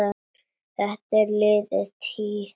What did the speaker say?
Þetta er liðin tíð.